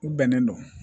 U bɛnnen don